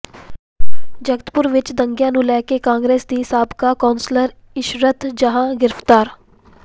ਜਗਤਪੁਰ ਵਿਚ ਦੰਗਿਆਂ ਨੂੰ ਲੈ ਕੇ ਕਾਂਗਰਸ ਦੀ ਸਾਬਕਾ ਕੌਂਸਲਰ ਇਸ਼ਰਤ ਜਹਾਂ ਗ੍ਰਿਫ਼ਤਾਰ